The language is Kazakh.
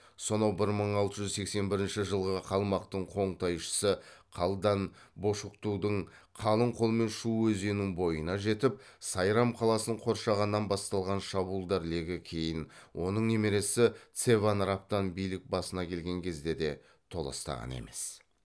сонау бір мың алты жүз сексен бірінші жылғы қалмақтың қоңтайшысы қалдан бошоктудың қалың қолмен шу өзенінің бойына жетіп сайрам қаласын қоршағаннан басталған шабуылдар легі кейін оның немересі цеван рабтан билік басына келген кезде де толастаған емес